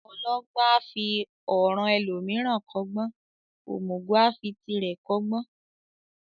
Ọlọgbọ́n a fi ọ̀ràn ẹlòmíràn kọ́gbọ́n, òmùgọ̀ a fi tirẹ̀ kọ́gbọ́n.